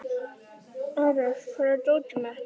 Ares, hvar er dótið mitt?